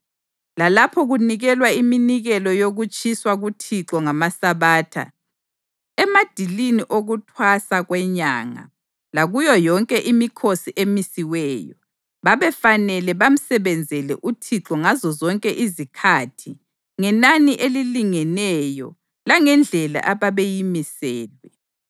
lalapho kunikelwa iminikelo yokutshiswa kuThixo ngamaSabatha, emadilini okuThwasa kweNyanga, lakuyo yonke imikhosi emisiweyo. Babefanele bamsebenzele uThixo ngazozonke izikhathi ngenani elilingeneyo langendlela ababeyimiselwe.